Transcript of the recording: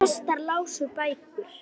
Prestar lásu bækur.